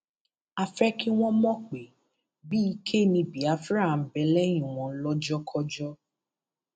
a fẹ kí wọn mọ pé bíi ike ni biafra ń bẹ lẹyìn wọn lọjọkọjọ